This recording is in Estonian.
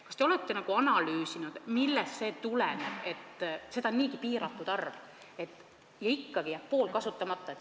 Kas te olete analüüsinud, millest see tuleneb, sest seda on niigi piiratult, aga ikkagi jääb pool kasutamata?